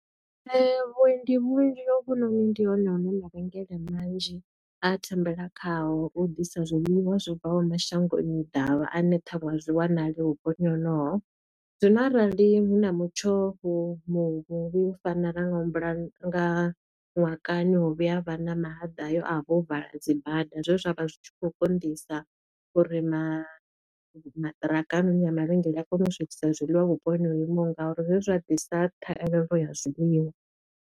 Vhuendi vhunzhi hovhunoni ndi hone hune nda rengela manzhi a thembela khayo u ḓisa zwiḽiwa zwo bvaho mashangoni ḓavha ane ṱhaṅwe a zwi wanali vhupo honoho. Zwino arali hu na mutsho vhu muvhi u fana na nga humbula nga ṅwaha kani ho vhuya ha vha na mahaḓa hayo a vho vala dzibada, zwe zwa vha zwi tshi khou konḓisa uri ma maṱiraka noni ya mavhengele a kona u swikisa zwiḽiwa vhuponi ho imaho ngauri, zwe zwa ḓisa thahelelo ya zwiliwa.